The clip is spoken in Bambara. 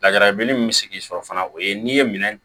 Lajarabilennin min bɛ sigi sɔrɔ fana o ye n'i ye minɛn